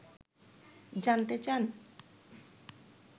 জানতে চান